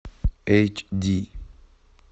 эйч ди